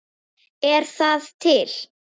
Er það til?